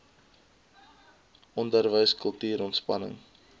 onderwys kultuur ontspanning